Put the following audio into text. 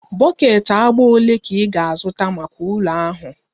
Bọket agba ole ka ị ga-azụta maka ụlọ ahụ?